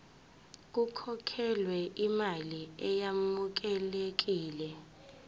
kukhokhelwe imali eyamukelekile